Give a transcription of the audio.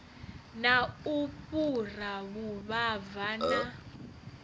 na u fhura vhuvhava na